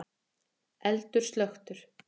Eldur slökktur